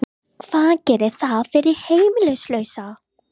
Hvað gerir það fyrir heimilislausa?